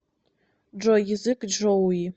джой язык чжоуи